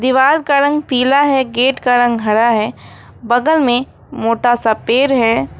दीवार का रंग पीला है गेट का रंग हरा है बगल में मोटा सा पेड़ है।